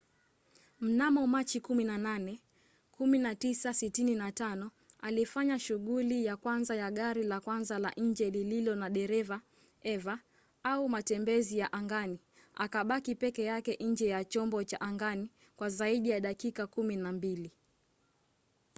mnamo machi 18 1965 alifanya shughuli ya kwanza ya gari la kwanza la nje lililo na dereva eva au matembezi ya angani akabaki peke yake nje ya chombo cha angani kwa zaidi ya dakika kumi na mbili